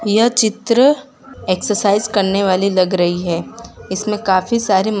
यह चित्र एक्सरसाइज करने वाली लग रही है इसमें काफी सारे--